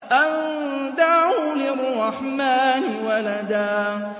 أَن دَعَوْا لِلرَّحْمَٰنِ وَلَدًا